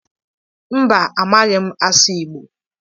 Mba, amaghị m asụ Igbo